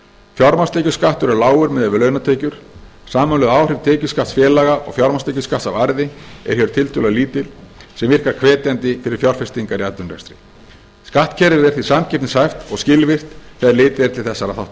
fjármagnstekjuskattur er lágur miðað við launatekjur samanlögð áhrif tekjuskatts félaga og fjármagnstekjuskatts af arði eru hér tiltölulega lítil sem virkar hvetjandi fyrir fjárfestingar í atvinnurekstri skattkerfið er því samkeppnishæft og skilvirkt þegar litið er til þessara